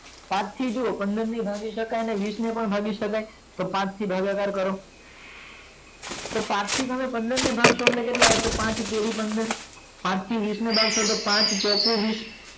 પાંચ થી જોવો પંદર ને પણ ભાગી સકે ને વીસ ને પણ ભાગી સકે તો પાંચ થી ભાગાકાર કર તો હવે પાંચ થી પંદર ને ભાગસૉ એટલે કેટલા આવસે પાંચ તરી પંદર પાંચ થી વીસ ને ભાગસૉ એટલે પાંચ ચોક વીસ